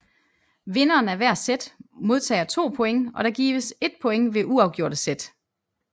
Vinderen af hver set modtager 2 points og der gives 1 point ved uafgjorte set